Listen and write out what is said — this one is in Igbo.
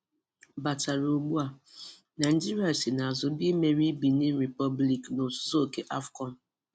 Batara Ugbua: Naịjirịa si n'azụ bịa imeri Benin Republic na ozuzu oke AFCON.